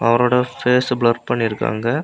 அவரோட face blur பண்ணிருக்காங்க.